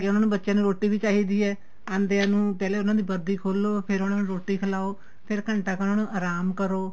ਉਹਨਾ ਨੂੰ ਬੱਚਿਆਂ ਨੂੰ ਰੋਟੀ ਵੀ ਚਾਹੀਦੀ ਏ ਆਂਦੀਆਂ ਦੀ ਪਹਿਲੇ ਉਹਨਾ ਦੀ ਵਰਦੀ ਖੋਲੋ ਫੇਰ ਉਹਨਾ ਨੂੰ ਰੋਟੀ ਖਿਲਾਉ ਫੇਰ ਘੰਟਾ ਕ ਉਹਨਾ ਨੂੰ ਆਰਾਮ ਕਰੋ